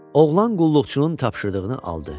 Oğlan qulluqçunun tapşırdığını aldı.